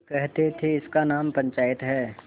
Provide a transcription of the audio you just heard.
वे कहते थेइसका नाम पंचायत है